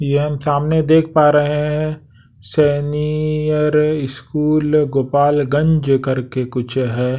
ये हम सामने देख पा रहे हैं सीनियर स्कूल गोपालगंज करके कुछ है।